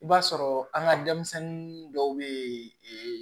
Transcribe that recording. I b'a sɔrɔ an ka denmisɛnnin dɔw bɛ yen